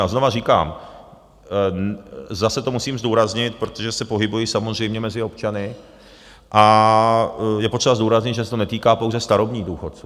A znovu říkám, zase to musím zdůraznit, protože se pohybuji samozřejmě mezi občany, a je potřeba zdůraznit, že se to netýká pouze starobních důchodců.